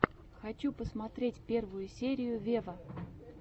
хочу посмотреть первую серию вево